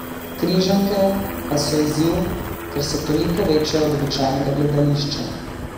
Križanke pa so izziv, ker so toliko večje od običajnega gledališča.